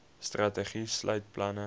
strategie sluit planne